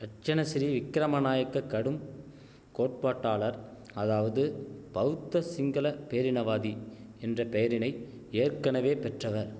ரட்சணசிறி விக்கிரம நாயக்கக் கடும் கோட்பாட்டாளர் அதாவது பௌத்த சிங்கள பேரினவாதி என்ற பெயரினை ஏற்கனவே பெற்றவர்